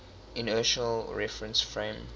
inertial reference frame